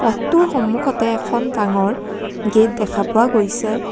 টোৰ সন্মুখতে এখন ডাঙৰ গেট দেখা পোৱা গৈছে।